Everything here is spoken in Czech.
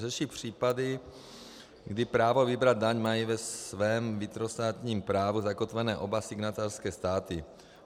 Řeší případy, kdy právo vybrat daň mají ve svém vnitrostátním právu zakotvené oba signatářské státy.